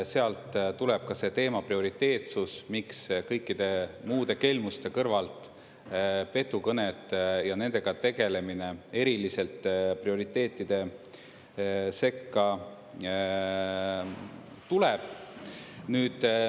Sealt tuleb ka selle teema prioriteetsus, miks kõikide muude kelmuste kõrvalt petukõned ja nendega tegelemine eriliselt prioriteetide sekka tuleb.